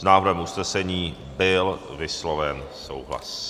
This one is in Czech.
S návrhem usnesení byl vysloven souhlas.